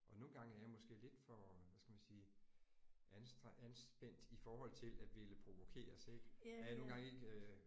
Og nogle gange er jeg måske lidt for hvad skal man sige an anspændt i forhold til at ville provokeres ik. At jeg nogle gange ik øh